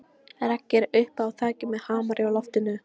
Raggi er uppi á þaki með hamar á lofti.